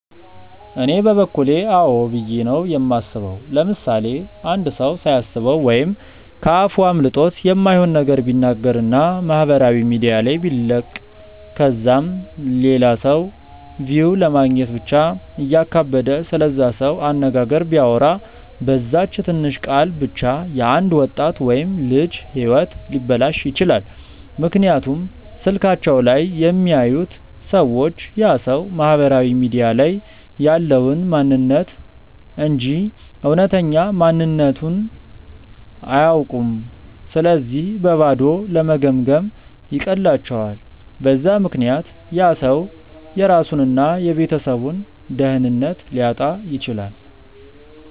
እኔ በበኩሌ አዎ ብዬ ነው የማስበው። ምሳሌ፦ አንድ ሰው ሳያስበው ወይም ከ አፉ አምልጦት የማይሆን ነገር ቢናገር እና ማህበራዊ ሚዲያ ላይ ቢለቅ ከዛም ለላ ሰው ቪው ለማግኘት ብቻ እያካበደ ስለዛ ሰው አነጋገር ቢያወራ፤ በዛች ትንሽ ቃል ብቻ የ አንድ ወጣት ወይም ልጅ ህይወት ሊበላሽ ይችላል፤ ምክንያቱም ስልካቸው ላይ የሚያዩት ሰዎች ያ ሰው ማህበራዊ ሚዲያ ላይ ያለውን ማንንነት እንጂ እውነተኛ ማንነትቱን አያውኩም ስለዚህ በባዶ ለመገምገም ይቀላቸዋል፤ በዛ ምክንያት ያ ሰው የራሱን እና የቤተሰቡን ደህንነት ሊያጣ ይችላል።